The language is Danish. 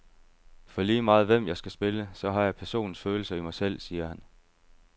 For lige meget hvem jeg skal spille, så har jeg personens følelser i mig selv, siger han.